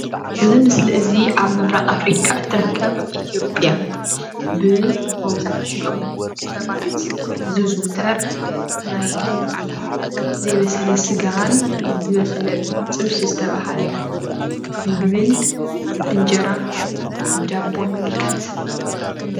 እዚ ምስሊ እዚ አብ ምብራቅ አፍሪካ እትርከብ ኢትዩጵያ ብመብዛሕቲኦም ሰባት ዝዝውተር ናይ ዘይበሰለ ስጋን ዝበሰለ ጥብሲ ዝተበሃለ ምግብን ብእንጀራ ብዳቦን ንምልከት።